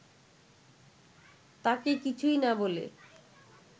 তাঁকে কিছুই না বলে